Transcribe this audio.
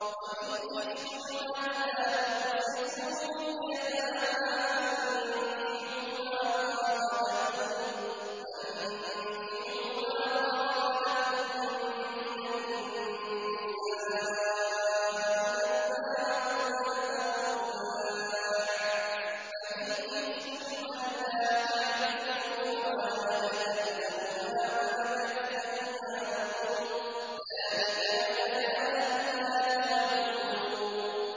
وَإِنْ خِفْتُمْ أَلَّا تُقْسِطُوا فِي الْيَتَامَىٰ فَانكِحُوا مَا طَابَ لَكُم مِّنَ النِّسَاءِ مَثْنَىٰ وَثُلَاثَ وَرُبَاعَ ۖ فَإِنْ خِفْتُمْ أَلَّا تَعْدِلُوا فَوَاحِدَةً أَوْ مَا مَلَكَتْ أَيْمَانُكُمْ ۚ ذَٰلِكَ أَدْنَىٰ أَلَّا تَعُولُوا